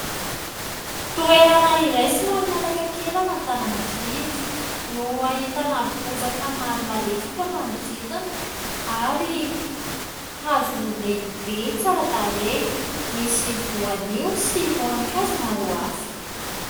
Toerana iray somary mihataka kely an'Antananarivo no ahitana bozaka maro malefaka manodidina ary hazo lehibe tsara tarehy misy voanio sy voankazo maro hafa.